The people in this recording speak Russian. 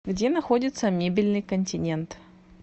где находится мебельный континент